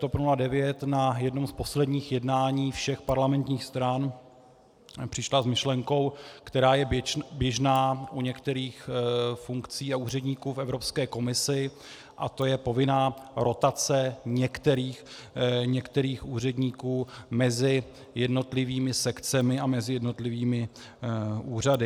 TOP 09 na jednom z posledních jednání všech parlamentních stran přišla s myšlenkou, která je běžná u některých funkcí a úředníků v Evropské komisi, a to je povinná rotace některých úředníků mezi jednotlivými sekcemi a mezi jednotlivými úřady.